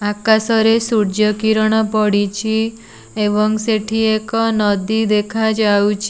ଆକାଶରେ ସୂର୍ଯ୍ୟ କିରଣ ପଡିଚି ଏବଂ ସେଠି ଏକ ନଦୀ ଦେଖାଯାଉଛ୍।